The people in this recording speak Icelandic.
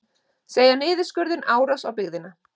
Segja niðurskurðinn árás á byggðina